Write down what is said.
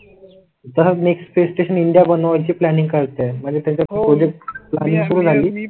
तर next space station India बनवायची planning करताय म्हणजे त्याच्या